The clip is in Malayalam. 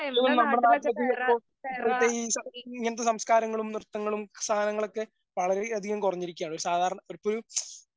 ഇതൊന്നും നമ്മുടെ നാട്ടിലധികം ഇപ്പൊ ഇപ്പഴത്തെ ഈ സ ഇങ്ങനത്തെ സംസ്കാരങ്ങളും, നൃത്തങ്ങളും സാധനങ്ങളൊക്കെ വളരേയധികം കുറഞ്ഞിരിക്കുകയാണ്. ഒരു സാധാരണ ഇപ്പഴും